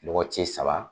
Lɔgɔ cɛ saba